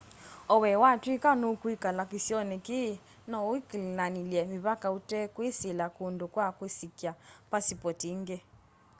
o we watwika nukwikala kisioni kii no ukilanilye mivaka utekwisila kundu kwa kusikya pasipoti ingi